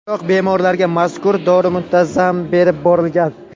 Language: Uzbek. Biroq bemorlarga mazkur dori muntazam berib borilgan.